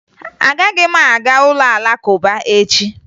Agaghị m aga ụlọ Alakụba echi